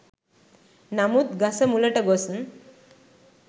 නමුත් ගස මුලට ගොස්